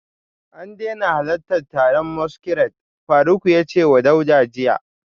A daina halartar taron masquerade, Faruk ya ce wa Dauda jiya